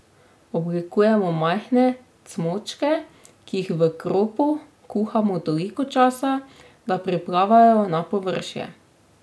Oblikujemo majhne cmočke, ki jih v kropu kuhamo toliko časa, da priplavajo na površje.